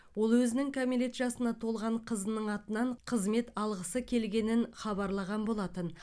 ол өзінің кәмелет жасына толған қызының атынан қызмет алғысы келгенін хабарлаған болатын